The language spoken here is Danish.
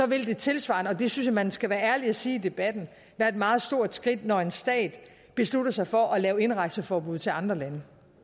vil det tilsvarende og det synes jeg at man skal være ærlig og sige i debatten være et meget stort skridt når en stat beslutter sig for at lave indrejseforbud til andre lande